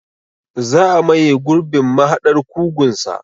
Za a maye gurbin mahaɗar kugunsa.